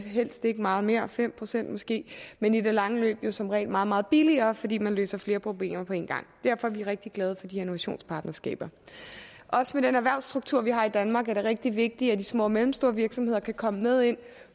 helst ikke meget mere fem procent måske men i det lange løb jo som regel meget meget billigere fordi man løser flere problemer på én gang derfor er vi rigtig glade for de her innovationspartnerskaber med den erhvervsstruktur vi har i danmark er det også rigtig vigtigt at de små og mellemstore virksomheder kan komme med ind